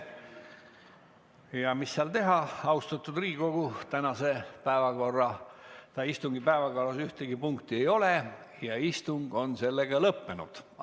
Ja mis seal teha, austatud Riigikogu, tänase istungi päevakorras ühtegi punkti ei ole ja istung on sellega lõppenud.